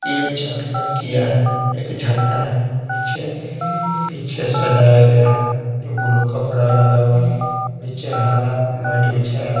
तीन चार लड़कियां हैं एक झंडा है पीछे पीछे सजाया गया है जो ब्लू कपड़ा लगा हुआ है नीचे हरा मैट बिछाया।